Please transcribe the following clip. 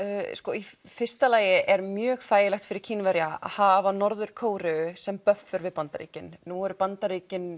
í fyrsta lagi er mjög þægilegt fyrir Kínverja að hafa Norður Kóreu sem buffer við Bandaríkin nú eru Bandaríkin